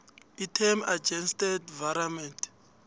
item adjusted virement